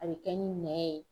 A be kɛ ni mɛn ye